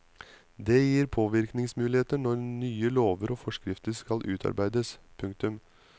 Det gir påvirkningsmuligheter når nye lover og forskrifter skal utarbeides. punktum